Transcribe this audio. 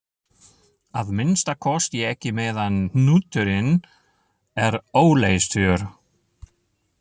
Að minnsta kosti ekki meðan hnúturinn er óleystur.